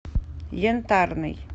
янтарный